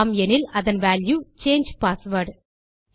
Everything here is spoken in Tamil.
ஆம் எனில் அதன் வால்யூ சாங்கே பாஸ்வேர்ட்